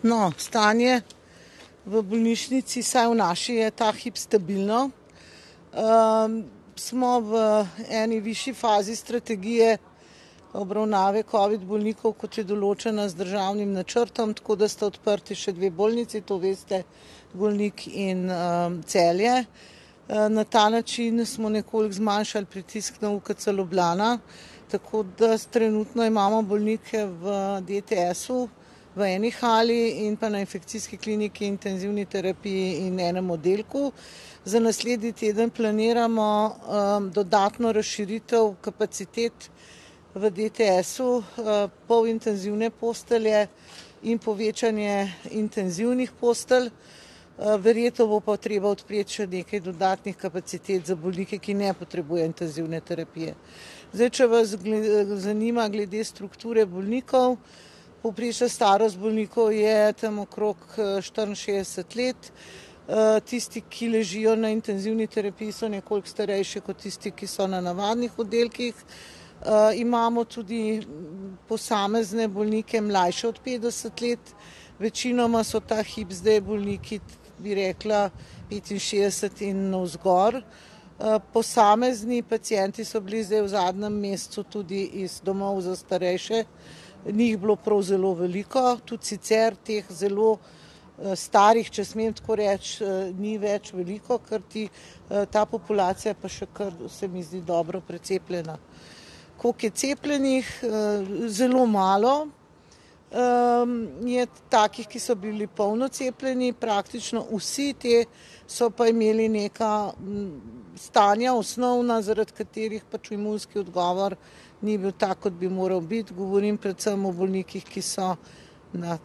No, stanje v bolnišnici, vsaj v naši, je ta hip stabilno. smo v eni višji fazi strategije obravnave covid bolnikov, kot je določena z državnim načrtom, tako da sta odprti še dve bolnici, to veste, Golnik in, Celje. na ta način smo nekoliko zmanjšali pritisk na UKC Ljubljana, tako da trenutno imamo bolnike v DTS-u, v eni hali in pa na infekcijski kliniki, intenzivni terapiji in enem oddelku. Za naslednji teden planiramo, dodatno razširitev kapacitet v DTS-u, polintenzivne postelje, in povečanje intenzivnih postelj. verjetno bo pa treba odpreti še nekaj dodatnih kapacitet za bolnike, ki ne potrebujejo intenzivne terapije. Zdaj, če vas zanima glede strukture bolnikov, povprečna starost bolnikov je tam okrog, štiriinšestdeset let, tisti, ki ležijo na intenzivni terapiji, so nekoliko starejši kot tisti, ki so na navadnih oddelkih. imamo tudi posamezne bolnike, mlajše od petdeset let, večinoma so ta hip zdaj bolniki, bi rekla, petinšestdeset in navzgor. posamezni pacienti so bili zdaj v zadnjem mesecu tudi iz domov za starejše, ni jih bilo prav zelo veliko. Tudi sicer teh zelo, starih, če smem tako reči, ni več veliko, kajti, ta populacija je pa še kar, se mi zdi, dobro precepljena. Koliko je cepljenih? zelo malo, je takih, ki so bili polno cepljeni. Praktično vsi ti so pa imeli neka stanja osnovna, zaradi katerih pač imunski odgovor ni bil tak, kot bi moral biti. Govorim predvsem o bolnikih, ki so na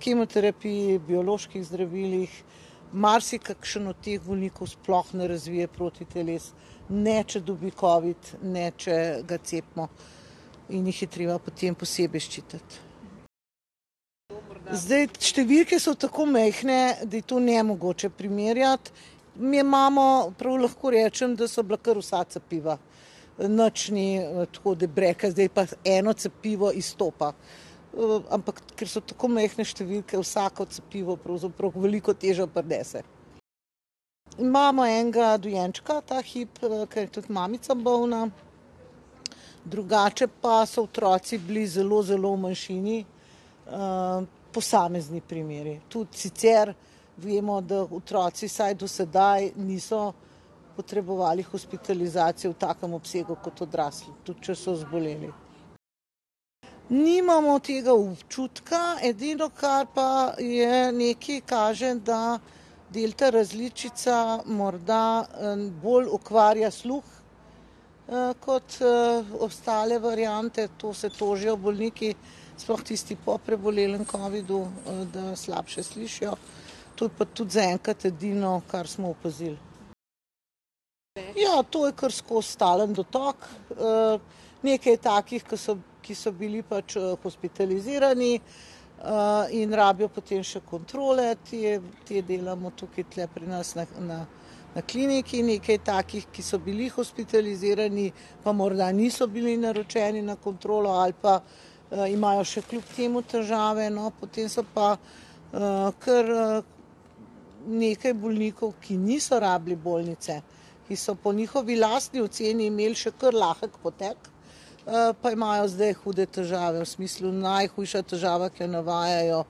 kemoterapiji, bioloških zdravilih. Marsikakšen od teh bolnikov sploh ne razvije protiteles. Ne če dobi covid, ne če ga cepimo. In jih je treba potem posebej ščititi. Zdaj, številke so tako majhne, da je to nemogoče primerjati. Mi imamo, prav lahko rečem, da so bila kar vsa cepiva. nič ni, tako, da bi rekla, zdaj pa eno cepivo izstopa. ampak ker so tako majhne številke, vsako cepivo pravzaprav veliko težo prinese. Imamo enega dojenčka ta hip, ke je tudi mamica bolna. Drugače pa so otroci bili zelo, zelo v manjšini, posamezni primeri. Tudi sicer vemo, da otroci vsaj do sedaj niso potrebovali hospitalizacije v takem obsegu kot odrasli. Tudi če so zboleli. Nimamo tega občutka. Edino, kar pa je, nekaj kaže, da delta različica morda, bolj okvarja sluh, kot, ostale variante. To se tožijo bolniki, sploh tisti po prebolelem covidu, da slabše slišijo. To je pa tudi zaenkrat edino, kar smo opazili. Ja, to je kar skozi stalen dotok. nekaj je takih, ki so, ki so bili pač, hospitalizirani, in rabijo potem še kontrole. Te, te delamo tukaj tule pri nas na, na, na kliniki. Nekaj je takih, ki so bili hospitalizirani, pa morda niso bili naročeni na kontrolo ali pa, imajo še kljub temu težave. No, potem so pa, kar, nekaj bolnikov, ki niso rabili bolnice, ki so po njihovi lastni oceni imeli še kar lahek potek, pa imajo zdaj hude težave. V smislu, najhujša težava, ki jo navajajo,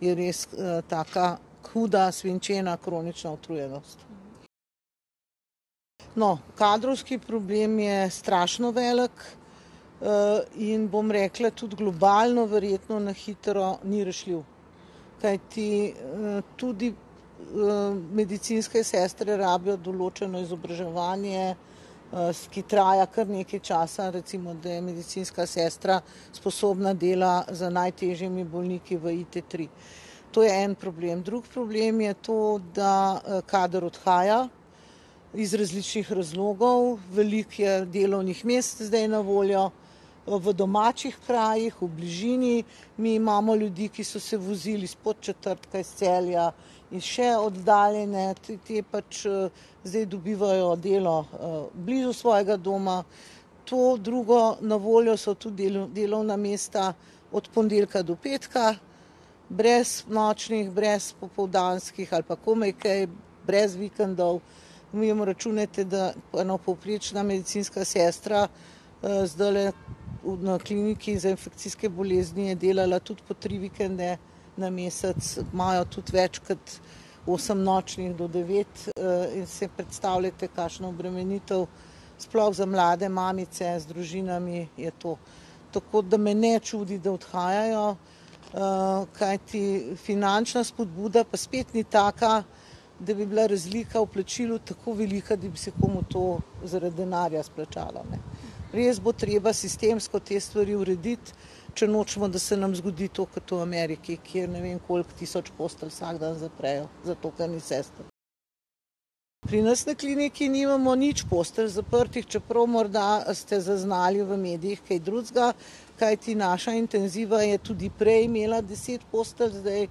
je res, taka huda, svinčena kronična utrujenost. No, kadrovski problem je strašno velik, in, bom rekla, tudi globalno verjetno na hitro ni rešljiv. Kajti, tudi, medicinske sestre rabijo določeno izobraževanje, ki traja kar nekaj časa. Recimo, da je medicinska sestra sposobna dela z najtežjimi bolniki v ITtri. To je en problem. Drugi problem je to, da, kader odhaja, iz različnih razlogov. Veliko je delovnih mest zdaj na voljo, v domačih krajih, v bližini. Mi imamo ljudi, ki so se vozili iz Podčetrtka, iz Celja, in še oddaljene. In ti pač, zdaj dobivajo delo, blizu svojega doma. To drugo, na voljo so tudi delovna mesta od ponedeljka do petka, brez nočnih, brez popoldanskih ali pa komaj kaj, brez vikendov. Mi imamo, računajte, da ena povprečna medicinska sestra, zdajle na kliniki za infekcijske bolezni je delala tudi po tri vikende na mesec, imajo tudi večkrat osem nočnih do devet, in si predstavljajte, kakšna obremenitev, sploh za mlade mamice z družinami, je to. Tako da me ne čudi, da odhajajo, kajti finančna spodbuda pa spet ni taka, da bi bila razlika v plačilu tako velika, da bi se komu to zaradi denarja izplačalo, ne. Res bo treba sistemsko te stvari urediti, če nočemo, da se nam zgodi to, kot v Ameriki, kjer ne vem, koliko tisoč postelj vsak dan zaprejo zato, ker ni sester. Pri nas na kliniki nimamo nič postelj zaprtih, čeprav morda ste zaznali v medijih kaj drugega. Kajti naša intenziva je tudi prej imela deset postelj, zdaj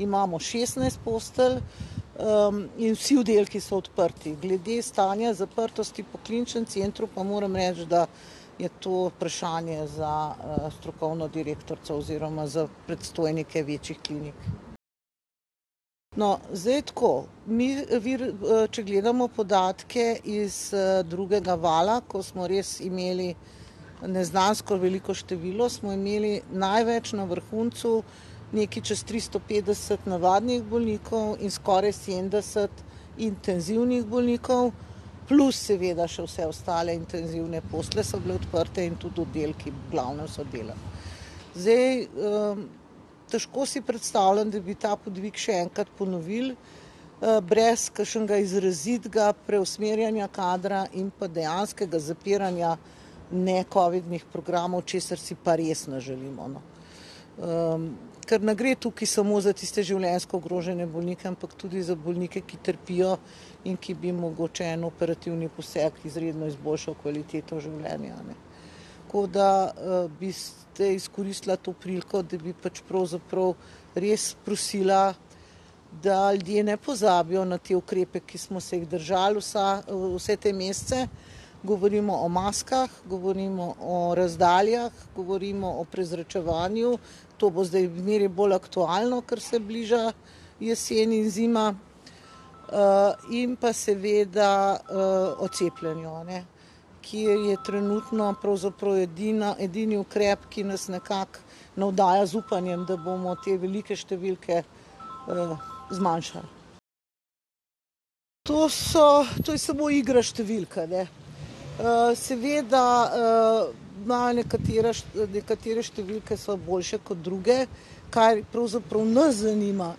imamo šestnajst postelj, in vsi oddelki so odprti. Glede stanja zaprtosti v Kliničnem centru pa moram reči, da je to vprašanje za strokovno direktorico oziroma za predstojnike večjih klinik. No, zdaj tako. Mi če gledamo podatke iz, drugega vala, ko smo res imeli neznansko veliko število, smo imeli največ na vrhuncu nekaj čez tristo petdeset navadnih bolnikov in skoraj sedemdeset intenzivnih bolnikov. Plus seveda še vse ostale intenzivne postelje so bile odprte in tudi oddelki v glavnem so delali. Zdaj, težko si predstavljam, da bi ta podvig še enkrat ponovili, brez kakšnega izrazitega preusmerjanja kadra in pa dejanskega zapiranja necovidnih programov, česar si pa res ne želimo, no. ker ne gre tukaj samo za tiste življenjsko ogrožene bolnike, ampak tudi za bolnike, ki trpijo in ki bi jim mogoče en operativni poseg izredno izboljšal kvaliteto življenja, ne. Tako da, bi zdaj izkoristila to priliko, da bi pač pravzaprav res prosila, da ljudje ne pozabijo na te ukrepe, ki smo se jih držali vsa, vse te mesece, govorimo o maskah, govorimo o razdaljah, govorimo o prezračevanju, to bo zdaj zmeraj bolj aktualno, ker se bliža jesen in zima. in pa seveda o cepljenju, ne, ki je trenutno pravzaprav edini ukrep, ki nas nekako navdaja z upanjem, da bomo te velike številke, zmanjšali. To so, to je samo igra številk, a ne. seveda, imajo nekatera nekatere številke so boljše kot druge. Kar pravzaprav nas zanima,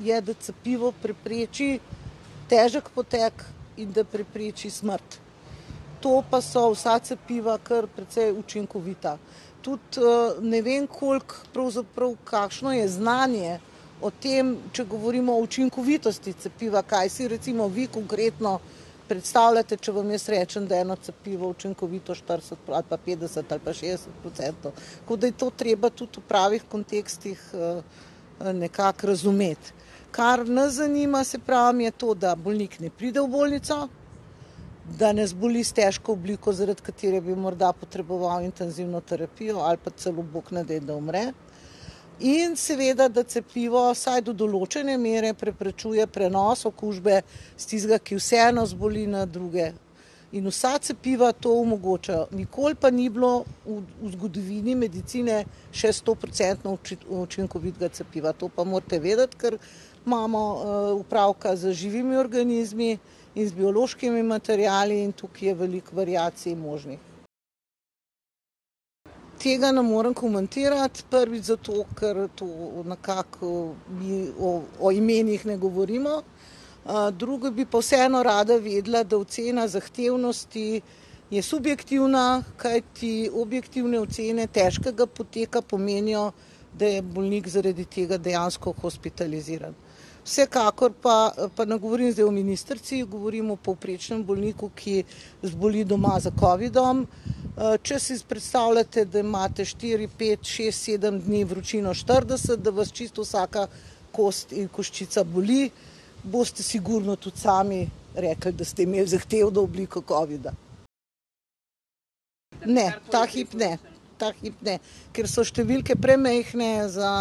je, da cepivo prepreči težek potek in da prepreči smrt. To pa so vsa cepiva kar precej učinkovita. Tudi, ne vem, koliko, pravzaprav, kakšno je znanje o tem, če govorimo o učinkovitosti cepiva, kaj si recimo vi konkretno predstavljate, če vam jaz rečem, da je eno cepivo učinkovito štirideset ali pa petdeset ali pa šestdeset procentov. Tako da je to treba tudi v pravih kontekstih, nekako razumeti. Kar nas zanima, saj pravim, je to, da bolnik ne pride v bolnico, da ne zboli s težko obliko, zaradi katere bi morda potreboval intenzivno terapijo ali pa celo, bog ne daj, da umre, in seveda, da cepivo vsaj do določene mere preprečuje prenos okužbe s tistega, ki vseeno zboli, na druge. In vsa cepiva to omogočajo. Nikoli pa ni bilo v zgodovini medicine še stoprocentno učinkovitega cpiva, to pa morate vedeti, ker imamo, opravka z živimi organizmi in z biološkimi materiali in tukaj je veliko variacij možnih. Tega ne morem komentirati. Prvič zato, ker to nekako, ni o imenih ne govorimo, drugo bi pa vseeno rada vedela, da ocena zahtevnosti je subjektivna, kajti objektivne ocene težkega poteka pomenijo, da je bolnik zaradi tega dejansko hospitaliziran. Vsekakor pa, pa ne govorim zdaj o ministrici, govorim o povprečnem bolniku, ki zboli doma za covidom, če si predstavljate, da imate štiri, pet, šest, sedem dni vročino štirideset, da vas čisto vsaka kost in koščica boli, boste sigurno tudi sami rekli, da ste imeli zahtevno obliko covida. Ne. Ta hip ne. Ta hip ne. Kar so številke premajhne za,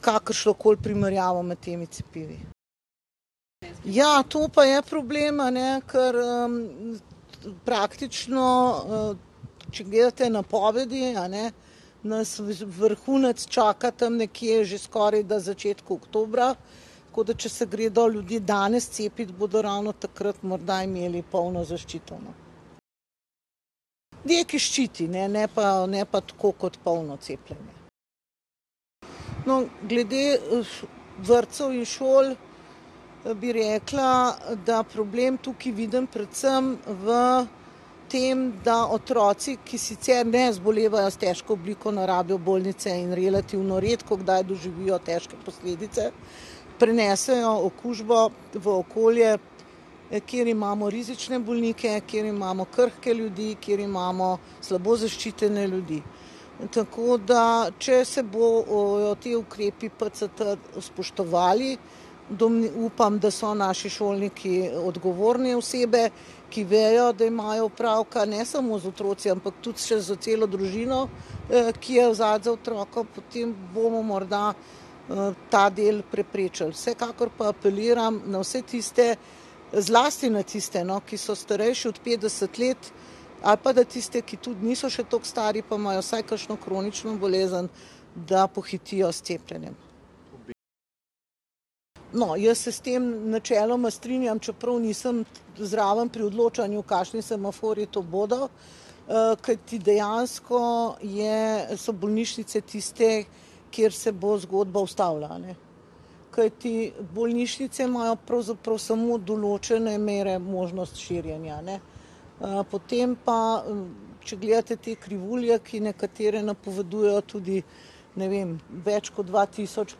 kakršnokoli primerjavo med temi cepivi. Ja, to pa je problem, a ne, ker, praktično, če gledate napovedi, a ne, nas vrhunec čaka tam nekje že skoraj na začetku oktobra, tako da če se gredo ljudje danes cepit, bodo ravno takrat morda imeli polno zaščito, no. Nekaj ščiti, ne, ne pa, ne pa tako kot polno cepljenje. No, glede, vrtcev in šol, bi rekla, da problem tukaj vidim predvsem v tem, da otroci, ki sicer ne zbolevajo s težko obliko, ne rabijo bolnice in relativno redkokdaj doživijo težke posledice, prinesejo okužbo v okolje, kjer imamo rizične bolnike, kjer imamo krhke ljudi, kjer imamo slabo zaščitene ljudi. Tako da, če se bo, jo te ukrepi PCT spoštovali, upam, da so naši šolniki odgovorne osebe, ki vejo, da imajo opravka ne samo z otroci, ampak tudi še s celo družino, ki je zadaj za otrokom, potem bomo morda, ta del preprečili. Vsekakor pa apeliram na vse tiste, zlasti na tiste, no, ki so starejši od petdeset let, ali pa na tiste, ki tudi niso še toliko stari pa imajo vsaj kakšno kronično bolezen, da pohitijo s cepljenjem. No, jaz se s tem načeloma strinjam, čeprav nisem zraven pri odločanju, kakšni semaforji to bodo. kajti dejansko je, so bolnišnice tiste, kjer se bo zgodba ustavila, a ne. Kajti bolnišnice imajo pravzaprav smo določene mere možnosti širjenja, ne. potem pa, če gledate te krivulje, ki nekatere napovedujejo tudi, ne vem, več kot dva tisoč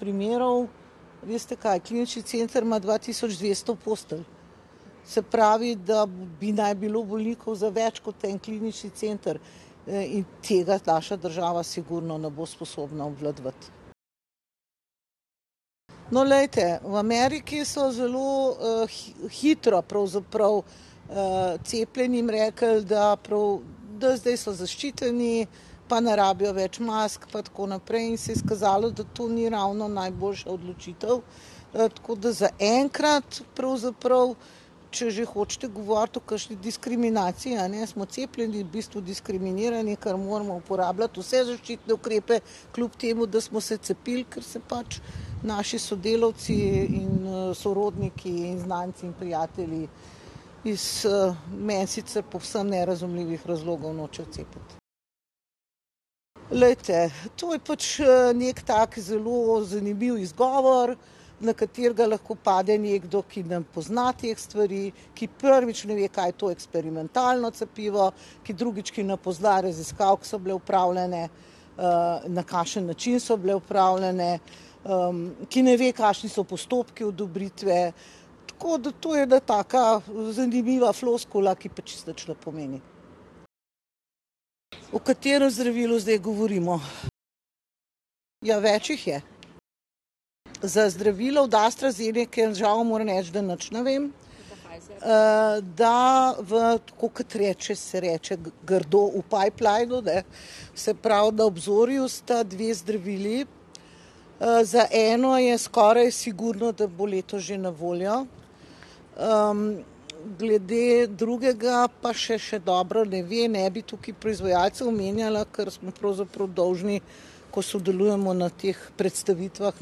primerov, veste kaj, klinični center ima dva tisoč dvesto postelj. Se pravi, da bi naj bilo bolnikov za več kot en klinični center. in tega naša država sigurno ne bo sposobna obvladovati. No, glejte, v Ameriki so zelo, hitro pravzaprav, cepljenim rekli, da prav, da zdaj so zaščiteni pa ne rabijo več mask pa tako naprej, in se je izkazalo, da to ni ravno najboljša odločitev. tako da zaenkrat pravzaprav, če že hočete govoriti o kakšni diskriminaciji, a ne, smo cepljeni v bistvu diskriminirani, ker moramo uporabljati vse zaščitne ukrepe, kljub temu da smo se cepili, kar se pač naši sodelavci in, sorodniki in znanci in prijatelji iz, meni sicer povsem nerazumljivih razlogov nočejo cepiti. Glejte, to je pač, neki tak zelo zanimiv izgovor, na katerega lahko pade nekdo, ki ne pozna teh stvari, ki prvič ne ve, kaj je to eksperimentalno cepivo, ki drugič, ki ne pozna raziskav, ke so bile opravljene, na kakšen način so bile opravljene, ki ne ve, kakšni so postopki odobritve. Tako da to je ena taka zanimiva floskula, ki pa čisto nič ne pomeni. O katerem zdravilu zdaj govorimo? Ja, več jih je. Za zdravilo od AstraZenece žal moram reči, da nič ne vem. da v, tako kot reče, se reče grdo, v pipelinu, ne. Se pravi na obzorju sta dve zdravili. za eno je skoraj sigurno, da bo letos že na voljo, glede drugega pa še še dobro ne ve. Ne bi tukaj proizvajalca omenjala, ker smo pravzaprav dolžni, ko sodelujemo na teh predstavitvah,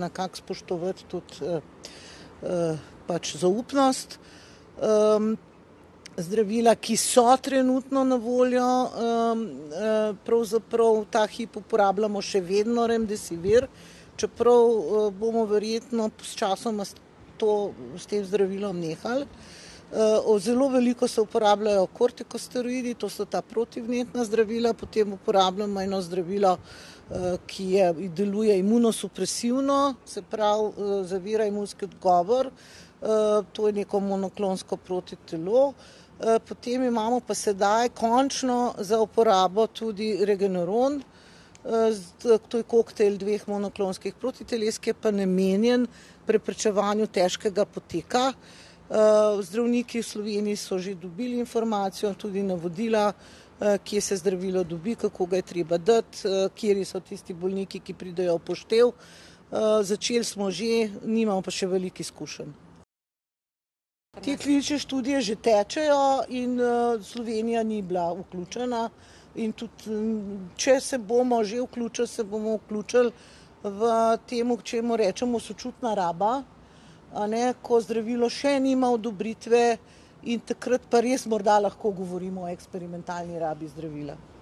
nekako spoštovati tudi, pač zaupnost. zdravila, ki so trenutno na voljo, pravzaprav ta hip uporabljamo še vedno remdesivir, čeprav, bomo verjetno sčasoma to, s tem zdravilom nehali. zelo veliko se uporabljajo kortikosteroidi, to so ta protivnetna zdravila, potem uporabljamo eno zdravilo, ki je, deluje imunosupresivno, se pravi, zavira imunski odgovor. to je neko monoklonsko protitelo. potem imamo pa sedaj končno za uporabo tudi regeneron, to je koktejl dveh monoklonskih protiteles, ki je pa namenjen preprečevanju težkega poteka. zdravniki v Sloveniji so že dobili informacijo, tudi navodila, kje se zdravilo dobi, kako ga je treba dati, kateri so tisti bolniki, ki pridejo v poštev, začeli smo že, nimamo pa še veliko izkušenj. Te klinične študije že tečejo in, Slovenija ni bila vključena in tudi, če se bomo že vključili, se bomo vključili v tem, čemur rečemo sočutna raba, a ne, ko zdravilo še nima odobritve, in takrat pa res morda lahko govorimo o eksperimentalni rabi zdravila.